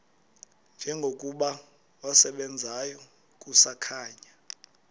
njengokuba wasebenzayo kusakhanya